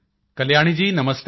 Kalyani ji ਨਮਸਤੇ